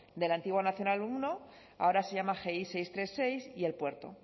de la antigua nacional uno ahora se llama gi seiscientos treinta y seis y el puerto